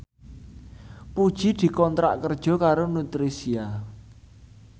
Puji dikontrak kerja karo Nutricia